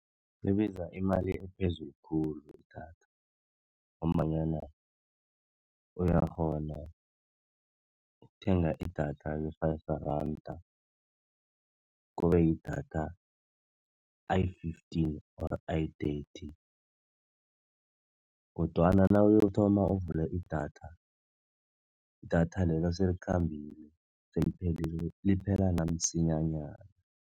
Libiza imali ephezulu khulu idatha ngombanyana uyakghona ukuthenga idatha le-Five Rands kube yidatha ayi-fifteen or ayi-thirty, kodwana nawuyokuthoma uvule idatha, idatha leyo selikhambile seliphelile liphela namsinyanyana.